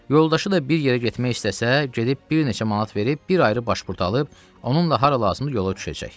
Yoldaşı da bir yerə getmək istəsə, gedib bir neçə manat verib, bir ayrı başpurt alıb, onunla hara lazımdır yola düşəcək.